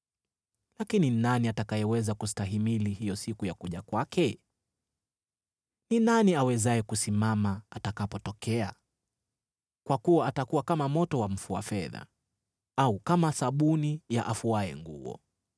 Lakini ni nani atakayeweza kustahimili hiyo siku ya kuja kwake? Ni nani awezaye kusimama atakapotokea? Kwa kuwa atakuwa kama moto wa mfua fedha au kama sabuni ya afuaye nguo.